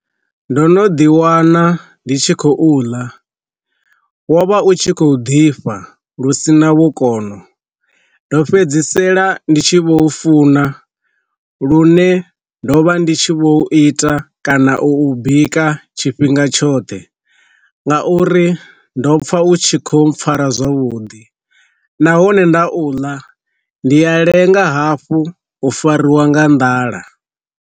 Ndo no ḓi wana ndi tshi khou ḽa wo vha u tshi khou ḓifha lusina vhukono ndo fhedzisela ndi tshi vho u funa lune ndo vha ndi tshi vho u ita kana u ubika tshifhinga tshoṱhe nga uri ndo pfa u tshi kho mpfara zwavhuḓi nahone nda u ḽa ndi a lenga hafhu u fariwa nga nḓala.